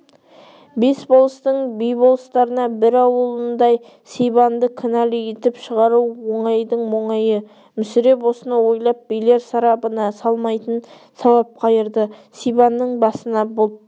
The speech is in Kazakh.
бес болыстың би-болыстарына бір ауылнай сибанды кінәлі етіп шығару оңайдың оңайы мүсіреп осыны ойлап билер сарабына салмайтын жауап қайырды сибанның басына бұлт